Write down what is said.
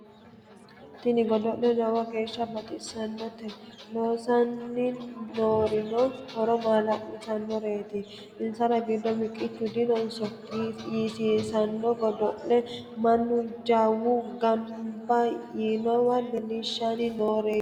Tini godo'le lowo geeshsha baxisanote loosani noorino horo maala'lisanoreti insara giddo miqichu dinonso yisiisano godo'leti mannu jawu gamba yiinowa leellinshanni roore yanna.